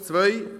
Zu Punkt 2: